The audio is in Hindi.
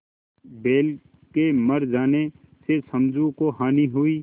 बैल के मर जाने से समझू को हानि हुई